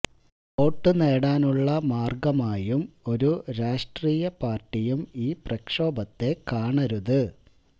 vote നേടാനുള്ള മാർഗമായും ഒരു രാഷ്ട്രീയ പാർട്ടിയും ഈ പ്രക്ഷോഭത്തെ കാണരുത്